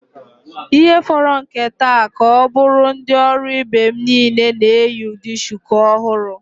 Ihe fọrọ nke nta ka ọ bụrụ ndị ọrụ ibe m niile na-eyi ụdị shuku ọhụrụ.